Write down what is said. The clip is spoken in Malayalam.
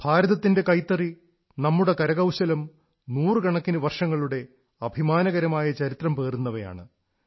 ഭാരതത്തിന്റെ കൈത്തറി നമ്മുടെ കരകൌശലം നൂറുകണക്കിന് വർഷങ്ങളുടെ അഭിമാനകരമായ ചരിത്രം പേറുന്നവയാണ്